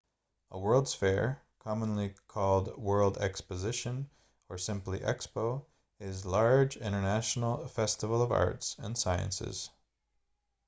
a world's fair commonly called world exposition or simply expo is large international festival of arts and sciences